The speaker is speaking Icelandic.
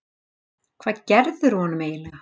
Hvað gerðirðu honum eiginlega?